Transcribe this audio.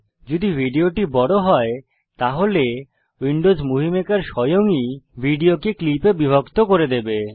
যদি ভিডিওটি বড় হয় তাহলে উইন্ডোজ মুভি মেকার স্বয়ং ই ভিডিওকে ক্লিপ এ বিভক্ত করে দেবে